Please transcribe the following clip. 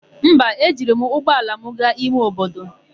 Mba, ejiri m ụgbọala m gaa ime obodo.